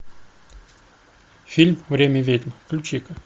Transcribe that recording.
фильм время ведьм включи ка